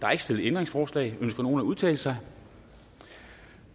er ikke stillet ændringsforslag ønsker nogen at udtale sig